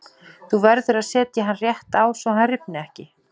Þú verður að setja hann rétt á svo að hann rifni ekki.